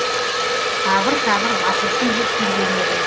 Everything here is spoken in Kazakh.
абыр сабыр басылсын деп жүрген едім